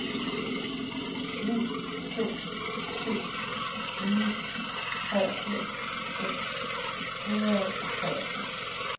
ni to syv ni treogfirs seks hundrede og treogtres